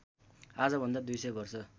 आजभन्दा २०० वर्ष